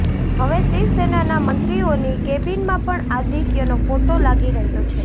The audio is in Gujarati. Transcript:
હવે શિવસેનાના મંત્રીઓની કેબિનમાં પણ આદિત્યનો ફોટો લાગી રહ્યો છે